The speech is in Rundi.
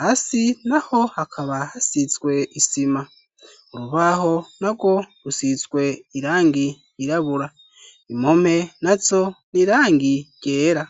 hasi naho hakaba hasizwe isima urubaho na bwo rusizwe irangi yirabura impompe nazo n'irangi ryera